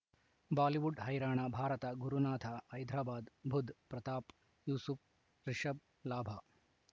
Bollywood ಹೈರಾಣ ಭಾರತ ಗುರುನಾಥ ಹೈದರಾಬಾದ್ ಬುಧ್ ಪ್ರತಾಪ್ ಯೂಸುಫ್ ರಿಷಬ್ ಲಾಭ